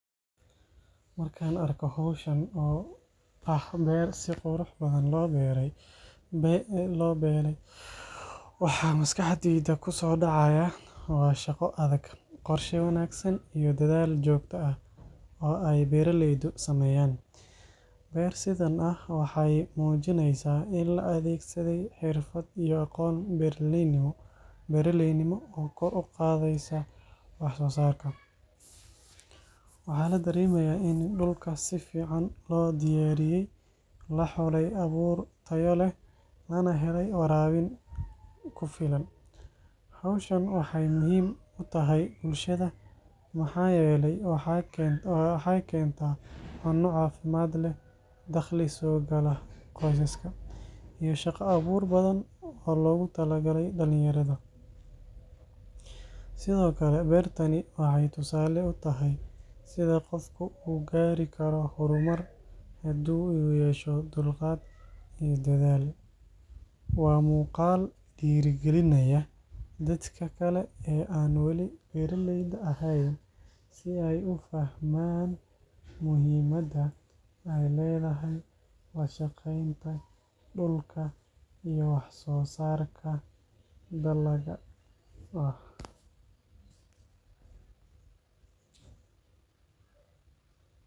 Markaan arko hawshan oo ah beer si qurux badan loo beelay, waxa maskaxdayda ku soo dhacaya waa shaqo adag, qorshe wanaagsan iyo dadaal joogto ah oo ay beeraleydu sameeyeen. Beer sidan ah waxay muujinaysaa in la adeegsaday xirfad iyo aqoon beeraleynimo oo kor u qaadaysa waxsoosaarka. Waxaa la dareemayaa in dhulka si fiican loo diyaariyey, la xulay abuur tayo leh, lana helay waraabin ku filan. Hawshan waxay muhiim u tahay bulshada maxaa yeelay waxay keentaa cunno caafimaad leh, dakhli soo gala qoysaska, iyo shaqo abuur badan oo loogu talagalay dhallinyarada. Sidoo kale beertani waxay tusaale u tahay sida qofka u gaari karo horumar haddii uu yeesho dulqaad iyo dadaal. Waa muuqaal dhiirrigelinaya dadka kale ee aan wali beeraleyda ahayn si ay u fahmaan muhiimadda ay leedahay la shaqeynta dhulka iyo waxsoosaarka dalagga.